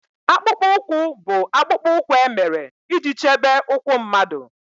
Akpụkpọ ụkwụ bụ akpụkpọ ụkwụ e mere iji chebe ụkwụ mmadụ